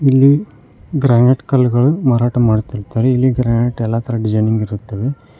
ಇಲ್ಲಿ ಗ್ರಾನೈಟ್ ಕಲ್ಲುಗಳು ಮಾರಾಟ ಮಾಡುತ್ತಿರುತ್ತಾರೆ ಇಲ್ಲಿ ಗ್ರಾನೆಟ್ ಎಲ್ಲಾ ತರಹದ ಡಿಸೈನಿಂಗ್ ಇರುತ್ತವೆ.